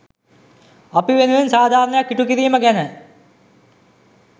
අපි වෙනුවෙන් සාධාරණයක් ඉටු කිරීම ගැන.